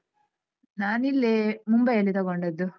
ನಾನಿಲ್ಲೇ ಮುಂಬೈಯಲ್ಲಿ ತಕೊಂಡದ್ದು.